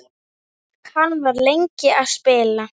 Hann var lengi að spila.